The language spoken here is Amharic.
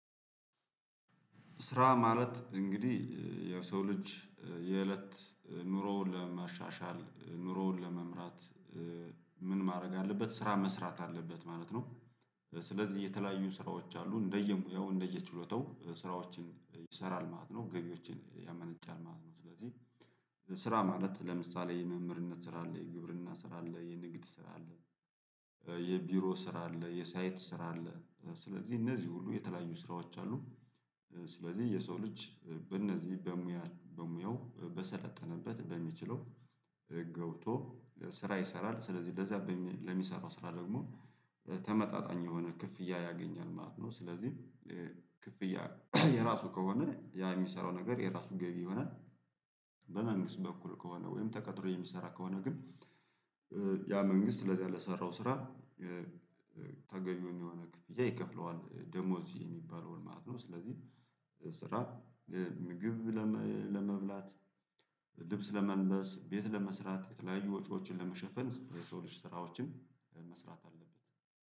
ስራ ማለት እንግዲህ የሰው ልጅ የእለት ኑሮውን ለማሻሻል ኑሮውን ለመምራት ምን ማድረግ አለበት ስራ መስራት አለበት ማለት ነው። ስለዚህ የተለያዩ ስራዎች አሉ እንደየ ሙያው እንደየ ችሎታው ስራዎችን ይሰራል ማለት ነው ገቢዎችን ያመነጫል ማለት ነው። ስለዚህ ስራ ማለት ለምሳሌ የመምህርነት ስራ አለ የግብርና ስራ አለ የንግድ ስራ አለ የቢሮ ስራ አለ የሳይት ስራ አለ ስለዚህ እነዚህ ሁሉ የተለያዩ ስራዎች አሉ። ስለዚህ የሰው ልጅ በእነዚህ በሙያ በሙያው በሰለጠነበት በሚችለው ገብቶ ስራ ይሰራል ስለዚህ በዚያ ለሚሰራው ስራ ደግሞ ተመጣጣኝ የሆነ ክፍያ ያገኛል ማለት ነው። ስለዚህ ክፍያ የራሱ ከሆነ ያ የሚሰራው ነገር የራሱ ገቢ ይሆናል። በመንግስት በኩል ከሆነ ወይም ተቀጥሮ የሚሰራ ከሆነ ግን ያ መንግስት ለዚህ ለሰራው ሰራው ስራ ተገብውን የሆነ ክፍያ ይከፍለዋል ደሞዝ የሚባለውን ማለት ነው። ስለዚህ ስራ ምግብ ለመብላት ልብስ ለመልበስ ቤት ለመስራት የተለያዩ ወጪዎችን ለመሸፈን የሰው ልጅ ስራዎችም መስራት አለበት